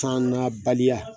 San na baliya